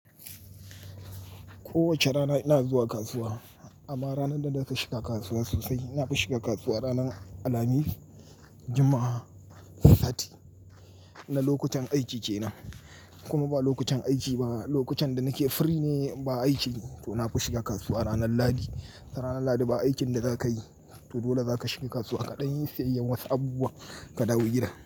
Kowace rana ina zuwa kasuwa amma ranar da nafi shiga kasuwa sosai, nafi shiga kasuwa ranar Alhamis, Juma'a, Sati na lokutan aiki kenan. In kuma ba lokutan aiki ba, lokutan da nake free ne ba aiki to nafi shiga kasuwa ranar Ladi. Ranar Ladi ba aikin da zaka yi to dole zaka shiga kasuwa kaɗan yi sayayyar wasu abubuwa ka dawo gida.